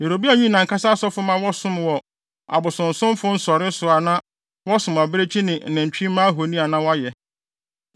Yeroboam yii nʼankasa asɔfo ma wɔsom wɔ abosonsomfo nsɔre so a na wɔsom abirekyi ne nantwimma ahoni a na wɔayɛ.